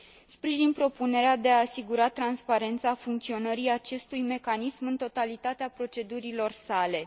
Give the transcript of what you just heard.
Sprijin propunerea de a asigura transparența funcționării acestui mecanism în totalitatea procedurilor sale.